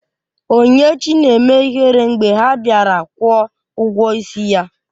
Onyinyechi na-eme ihere mgbe ha bịara kwụọ ụgwọ ịsị ya